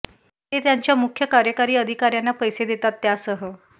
ते त्यांच्या मुख्य कार्यकारी अधिकार्यांना पैसे देतात त्यासह